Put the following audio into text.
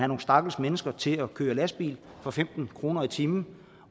nogle stakkels mennesker til at køre lastbil for femten kroner i timen